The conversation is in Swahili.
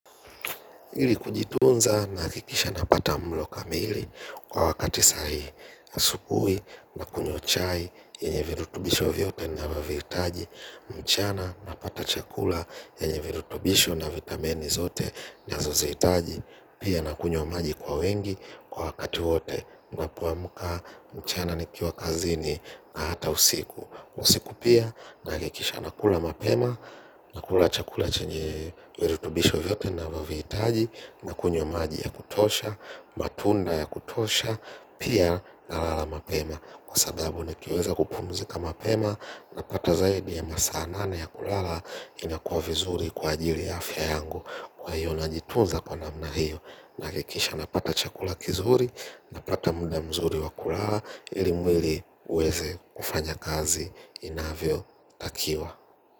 Ili kujitunza nahakikisha napata mlo kamili kwa wakati sahihi asubuhi nakunywa chai yenye virutubisho vyote navyovihitaji mchana napata chakula chenye virutubisho na vitamini zote nazozihitaji. Pia na kunywa maji kwa wingi kwa wakati wote napoamka mchana nikiwa kazini hata usiku. Usiku pia, nahakikisha nakunywa mapema, nakula chakula chenye virutubisho vyote navyovihtaji. Nakunywa maji ya kutosha, matunda ya kutosha, pia nalala mapema. Kwa sababu nikiweza kupumzika mapema, napata zaidi ya masaa nane ya kulala. Inakuwa vizuri kwa ajili ya afya yangu, kwa hiyo na jitunza kwa namna hiyo. Nahakikisha napata chakula kizuri, napata muda mzuri wa kulala ili mwili uweze kufanya kazi inavyotakiwa.